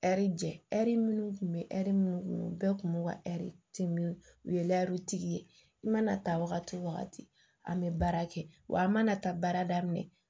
Ɛri jɛ ɛri minnu kun bɛ ɛri minnu kun bɛɛ tun b'u ka ɛri dimi u ye lɛri tigi ye i mana ta wagati o wagati an bɛ baara kɛ wa an mana taa baara daminɛ